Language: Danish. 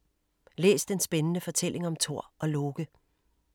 Læs den spændende fortælling om Thor og Loke.